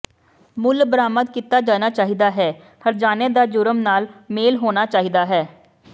ਮੁੱਲ ਬਰਾਮਦ ਕੀਤਾ ਜਾਣਾ ਚਾਹੀਦਾ ਹੈ ਹਰਜਾਨੇ ਦਾ ਜੁਰਮ ਨਾਲ ਮੇਲ ਹੋਣਾ ਚਾਹੀਦਾ ਹੈ